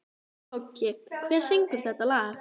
Toggi, hver syngur þetta lag?